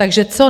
Takže co?